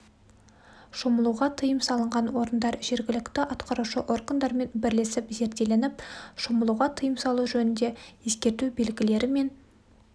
шомылуға тыйым салынған орындар жергілікті атқарушы органдармен бірлесіп зерделеніп шомылуға тыйым салу жөнінде ескерту белгілері мен